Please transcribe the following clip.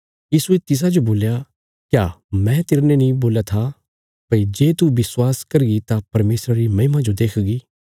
यीशुये तिसाजो बोल्या क्या मैं तेरने नीं बोल्या था भई जे तू विश्वास करगी तां परमेशरा री महिमा जो देखगी